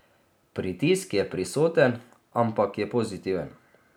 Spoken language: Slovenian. Pritisk je prisoten, ampak je pozitiven.